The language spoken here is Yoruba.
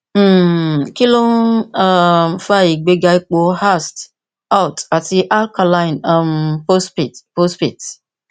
um kí ló ń um fa ìgbéga ipò ast alt àti alkaline um phosphate phosphate